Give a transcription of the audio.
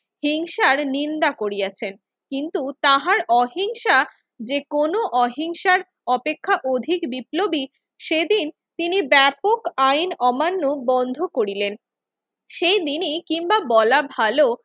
হিংসার নিন্দা করিয়াছেন। কিন্তু তাহার অহিংসা যেকোনো অহিংসার অপেক্ষা অধিক বিপ্লবী সেদিন তিনি ব্যাপক আইন অমান্য বন্ধ করিলেন। সেইদিনই কিংবা বলা ভালো